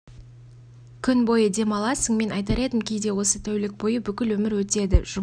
күн бойы дем аласың мен айтар едім кейде осы тәулік бойы бүкіл өмір өтеді жұмыс